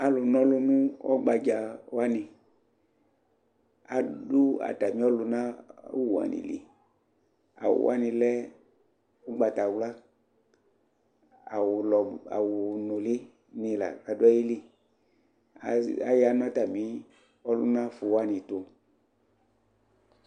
alʋ nɔlʋ nʋ ɔgbaja wani adʋ atami ɔlʋna awʋ wani li, awʋ wani lɛ ɔgbatawla, awʋ nʋli ni la kʋ adʋ ayili, aya nʋ atami ʋlʋna ƒʋ wani tʋ